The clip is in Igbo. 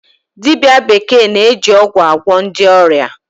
Dibia bekee na-eji ọgwụ agwọ ndị ọrịa.